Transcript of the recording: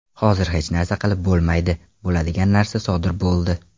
Hozir hech narsa qilib bo‘lmaydi, bo‘ladigan narsa sodir bo‘ldi.